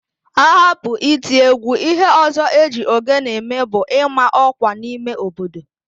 Ahapụ iti égwú, íhé ọ̀zọ́ e ji ogene eme bụ ịma ọ́kwà n'ime obodo